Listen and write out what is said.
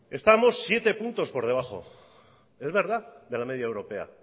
estamos siete puntos por debajo es verdad de la media europea